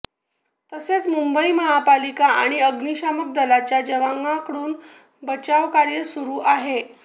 तसेच मुंबई महापालिका आणि अग्निशमन दलाच्या जवानांकडून बचावकार्य सुरु आहे